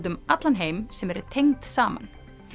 um allan heim sem eru tengd saman